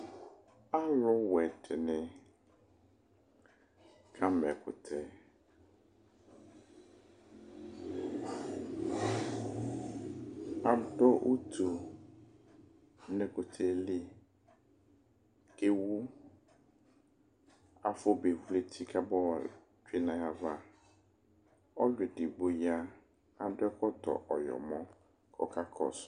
Aluwɛ dini kama ɛkʋtɛ Adu utu nʋ ɛkʋtɛ yɛ li, kʋ ewu Afobe vlu eti kaba yotsue nʋ ayava Ɔlʋedigbo ya, adu ɛkɔtɔ ɔyɔmɔ, kʋ ɔkakɔsʋ